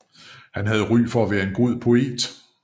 Han havde ry for at være en god poet